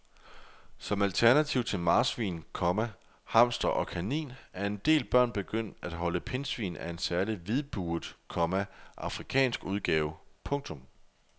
Som alternativ til marsvin, komma hamster og kanin er en del børn begyndt at holde pindsvin af en særlig hvidbuget, komma afrikansk udgave. punktum